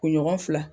Kunɲɔgɔn fila